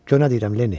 Gör nə deyirəm Lenni?